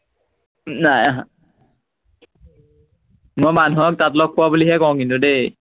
নাই অহা। মই মানুহক তাত লগ পোৱা বুলিহে কও কিন্তু দেই